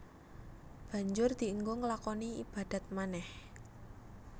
Banjur dienggo nglakoni ibadat manèh